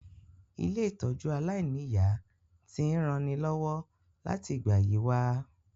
Ilé-ìtójú aláìniya ti n ranilọ́wọ́ láti ìgbà yi wa